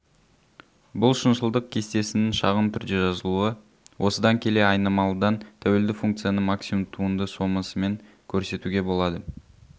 бұл шыншылдық кестесінің шағын түрде жазылуы осыдан келе айнымалыдан тәуелді функцияны максимум туынды сомасымен көрсетуге болады